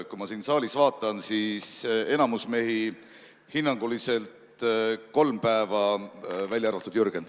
Kui ma siin saalis vaatan, siis enamik mehi hinnanguliselt kolm päeva, välja arvatud Jürgen.